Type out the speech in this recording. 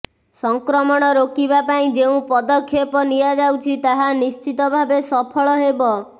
ସଂକ୍ରମଣ ରୋକିବାପାଇଁ ଯେଉଁ ପଦକ୍ଷେପ ନିଆଯାଉଛି ତାହା ନିଶ୍ଚିତ ଭାବେ ସଫଳ ହେବ